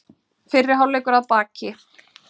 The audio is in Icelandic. Fyrri hálfleikur að baki